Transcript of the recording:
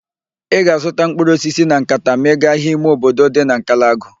Ị ga-azụta mkpụrụ osisi na nkata ma ị gaa ahịa ime obodo dị na Nkalagụ